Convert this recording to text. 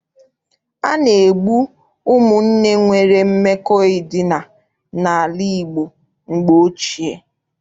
A na-egbu ụmụnne nwere mmekọ edina n'ala Igbo mgbe ochie.